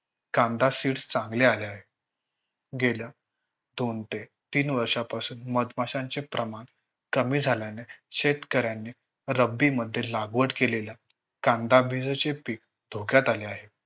कांदा Seeds चांगल्या आल्या आहेत. गेल्या दोन ते तीन वर्षांपासून मधमाशांचे प्रमाण कमी झाल्याने शेतकऱ्याने रब्बी मध्ये लागवड केलेल्या कांदाबीज चे पीक धोक्यात आले आहे